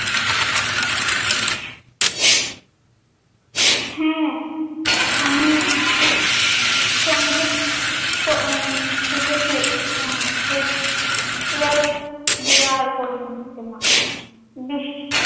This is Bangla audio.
হ্যাঁ আমি সঙ্গীত শিখেছি দিয়ে আর দিয়ে আর করিনি বিশ্ব